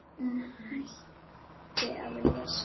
Hún hætti að lesa.